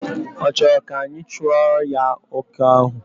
Ọ chọrọ ka anyị chụọrọ ya oke ahụ?